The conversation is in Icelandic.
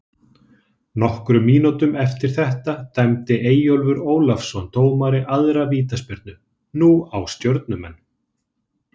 Nokkrum mínútum eftir þetta dæmdi Eyjólfur Ólafsson dómari aðra vítaspyrnu, nú á Stjörnumenn.